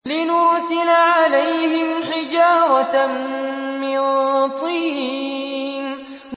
لِنُرْسِلَ عَلَيْهِمْ حِجَارَةً مِّن طِينٍ